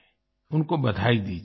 उनको बधाई दीजिये